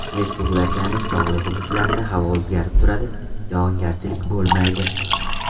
Respublikaning tog‘li hududlarida havo o‘zgarib turadi, yog‘ingarchilik bo‘lmaydi.